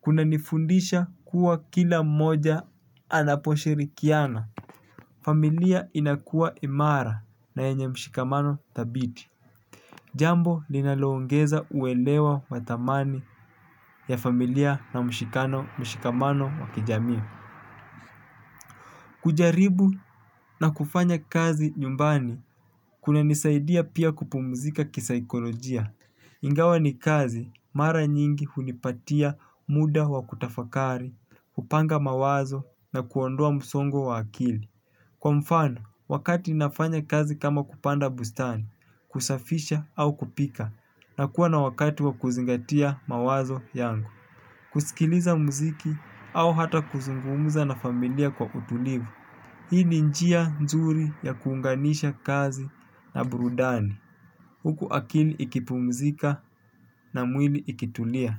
kuna nifundisha kuwa kila moja anaposhirikiana. Familia inakua imara na yenye mshikamano thabiti. Jambo linaloongeza uelewa wathamani ya familia na mshikano mshikamano wakijamii. Kujaribu na kufanya kazi nyumbani kunanisaidia pia kupumzika ki saikolojia. Ingawa ni kazi mara nyingi hunipatia muda wa kutafakari, kupanga mawazo na kuondoa msongo wa akili. Kwa mfani wakati nafanya kazi kama kupanda bustani kusafisha au kupika nakua na wakati wa kuzingatia mawazo yangu. Kusikiliza muziki au hata kuzungumuza na familia kwa utulivu. Hii ni njia nzuri ya kuunganisha kazi na burudani, huku akili ikipumzika na mwili ikitulia.